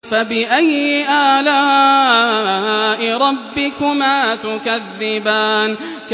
فَبِأَيِّ آلَاءِ رَبِّكُمَا تُكَذِّبَانِ